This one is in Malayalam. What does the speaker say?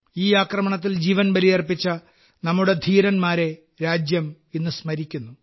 ഈ ആക്രമണത്തിൽ ജീവൻ ബലിയർപ്പിച്ച നമ്മുടെ ധീരന്മാരെ രാജ്യം ഇന്ന് സ്മരിക്കുന്നു